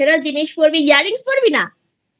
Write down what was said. Traditional জিনিস পড়বো Earrings পড়বি না?